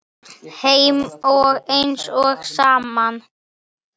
Þeim eina og sanna?